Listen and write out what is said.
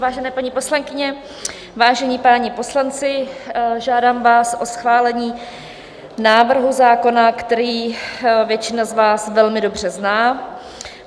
Vážené paní poslankyně, vážení páni poslanci, žádám vás o schválení návrhu zákona, který většina z vás velmi dobře zná.